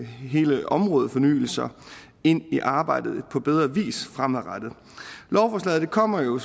hele områdefornyelser ind i arbejdet på bedre vis fremadrettet lovforslaget kommer jo